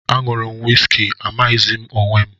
Añụru m wisiki amaghịzi m onwe m